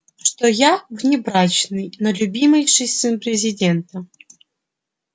что я внебрачный но любимейший сын президента